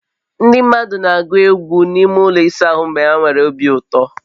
Ndị mmadụ na-agụ egwụ n'ụlọ ịsa ahụ mgbe ha nwere obi ụtọ